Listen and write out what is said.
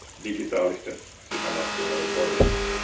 digitaalisten sisämarkkinoiden toiminnassa.